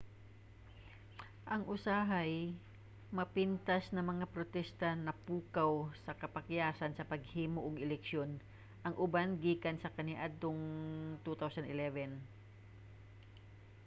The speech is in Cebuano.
ang usahay-mapintas na mga protesta napukaw sa kapakyasan sa paghimo og eleksyon ang uban gikan pa kaniadtong 2011